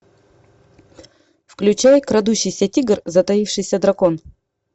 включай крадущийся тигр затаившийся дракон